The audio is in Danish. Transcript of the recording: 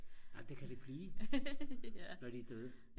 nej men det kan det blive når de er døde